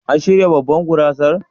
An shirya babban gurasar?